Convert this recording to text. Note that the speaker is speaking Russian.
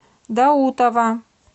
даутова